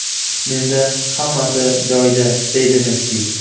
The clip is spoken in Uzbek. Menda hammasi joyida”, deydi Messi.